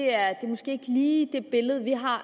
er måske ikke lige et billede vi har